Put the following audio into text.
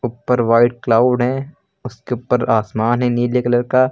ऊपर white cloud हैं उसके ऊपर आसमान है नीले कलर का।